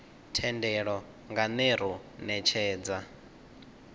thendelo nga ner u netshedza